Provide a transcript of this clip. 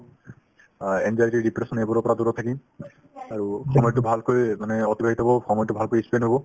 অ, anxiety depression এইবোৰৰ পৰা দূৰত থাকিম আৰু সময়তো ভালকৈ মানে অতিবাহিত হ'ব সময়তো ভালকৈ ই spend হ'ব